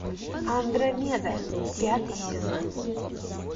андромеда пятый сезон